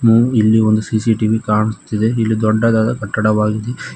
ಇಲ್ಲಿ ಒಂದು C C T V ಕಾಣುಸ್ತಿದೆ ಇಲ್ಲಿ ದೊಡ್ಡದಾದ ಕಟ್ಟಡವಾಗಿದೆ.